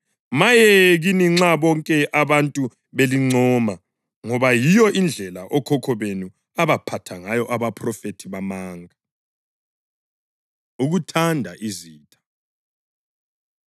Maye kini nxa bonke abantu belincoma, ngoba yiyo indlela okhokho benu abaphatha ngayo abaphrofethi bamanga.” Ukuthanda Izitha